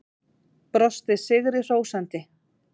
Brosti sigri hrósandi.